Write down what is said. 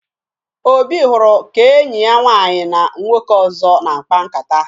Obi hụrụ ka enyi ya nwaanyị na nwoke ọzọ na-akpa nkata